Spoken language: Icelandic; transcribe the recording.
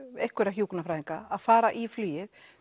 einhverja hjúkrunarfræðinga að fara í flugið